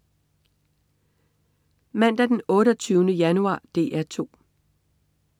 Mandag den 28. januar - DR 2: